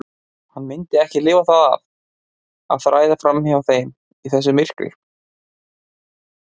Hann myndi ekki lifa það af að þræða fram hjá þeim í þessu myrkri.